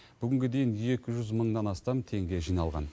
бүгінге дейін екі жүз мыңнан астам теңге жиналған